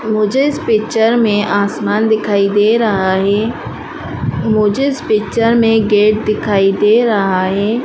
मुझे इस पिक्चर में आसमान दिखाई दे रहा है। मुझे इस पिक्चर में गेट दिखाई दे रहा है।